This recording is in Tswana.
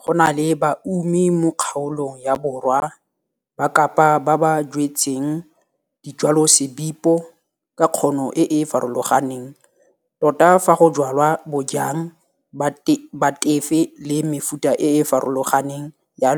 Go na le baumi mo kgaolong ya borwa ba Kapa ba ba jwetseng dijwalosebipo ka kgono e e farologaneng tota fa go jwalwa bojang ba tefe le mefuta e e farologaneng ya